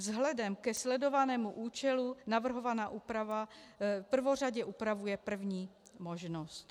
Vzhledem ke sledovanému účelu navrhovaná úprava prvořadě upravuje první možnost.